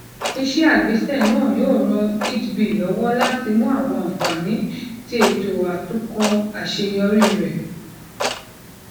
ise agbese naa yoo ran eadb lọwọ lati mu awọn anfani ti eto atunkọ aṣeyọri rẹ